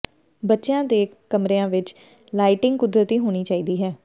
ਬੱਚਿਆਂ ਦੇ ਕਮਰਿਆਂ ਵਿਚ ਲਾਈਟਿੰਗ ਕੁਦਰਤੀ ਹੋਣੀ ਚਾਹੀਦੀ ਹੈ